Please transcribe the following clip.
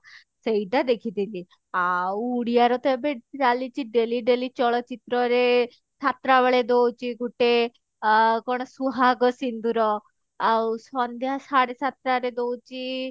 ସେଇଟା ଦେଖିଥିଲି ଆଉ ଉଡିଆ ର ତ ଏବେ ଚାଲିଛି daily daily ଚଳଚିତ୍ର ରେ ସାତ ଟା ବେଳେ ଦଉଛି ଗୁଟେ ଆ କଣ ସୁହାଗ ସିନ୍ଦୁର ଆଉ ସନ୍ଧ୍ୟା ସାଢେ ସାତ ଟା ରେ ଦଉଛି